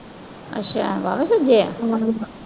ਅੱਛਾ ਬਾਹਲਾ ਸੁੱਜਿਆ?